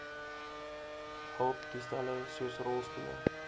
hulptoestelle soos rolstoele